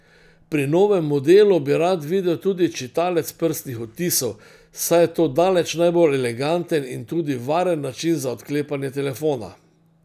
Pri novem modelu bi rad videl tudi čitalec prstnih odtisov, saj je to daleč najbolj eleganten in tudi varen način za odklepanje telefona.